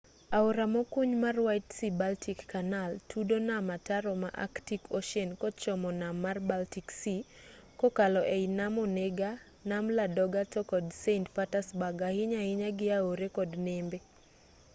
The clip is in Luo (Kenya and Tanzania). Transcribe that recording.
aora mokuny mar white sea-baltic canal tudo nam ataro ma arctic ocean kochomo nam mar baltic sea kokalo ei nam onega nam ladoga to kod saint petersburg ahinya ahinya gi aore kod nembe